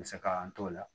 Misalan an t'o la